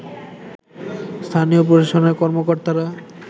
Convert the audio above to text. স্থানীয় প্রশাসনের কর্মকর্তারা